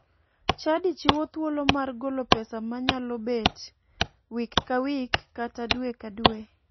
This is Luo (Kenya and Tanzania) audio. Chadi chiwo thuolo mar golo pesa manyalobet wik ka wik kata dwe ka dwe.